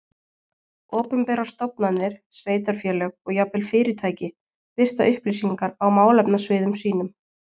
Opinberar stofnanir, sveitarfélög og jafnvel fyrirtæki birta upplýsingar á málefnasviðum sínum.